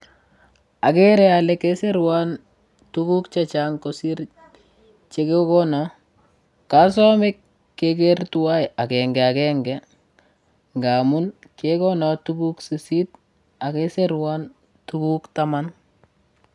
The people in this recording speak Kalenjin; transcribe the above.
Agere ale kesirwan tuguk chechang' kosir chekegono. Kasamei keger tuwai agengagenge ngamun kekonon tuguk sisit agesirwon tuguk taman.